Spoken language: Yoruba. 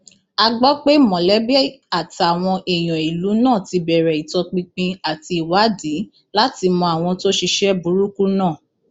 a gbọ pé mọlẹbí àtàwọn èèyàn ìlú náà ti bẹrẹ ìtọpinpin àti ìwádìí láti mọ àwọn tó ṣiṣẹ burúkú náà